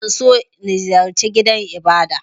Zan so in ziyarce gidan Ibada.